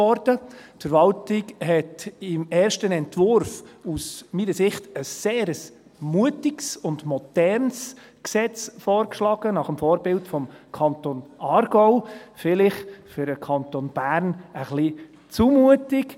Die Verwaltung hat im ersten Entwurf, meiner Ansicht nach, ein sehr mutiges und modernes Gesetz vorgeschlagen, nach dem Vorbild des Kantons Aargau, vielleicht für den Kanton Bern ein wenig zu mutig.